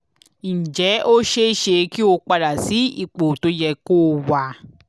ǹjẹ́ ó ṣe é ṣe kí ó padà sí ipò tó yẹ kó wà?